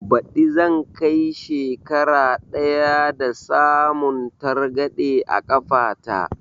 Ɓadi zan kai shekara ɗaya da samun targaɗe a kafa ta